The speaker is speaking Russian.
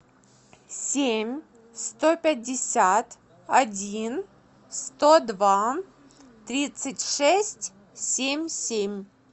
семь сто пятьдесят один сто два тридцать шесть семь семь